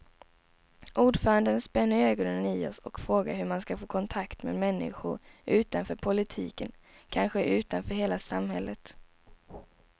Ordföranden spänner ögonen i oss och frågar hur man ska få kontakt med människorna utanför politiken, kanske utanför hela samhället.